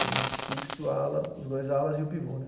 Tenho fixo, ala, os dois alas e o pivô, né?